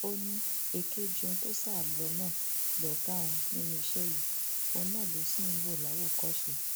ó ní èkejì òun tó sá lọ náà lọgá òun nínú iṣẹ yìí òun náà lòun sì ń wò láwòkọṣe